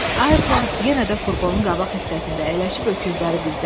Ayrton yenə də furqonun qabaq hissəsində əyləşib öküzləri bizdədir.